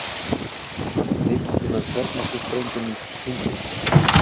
Lykillinn að kjarnorkusprengjunum týndist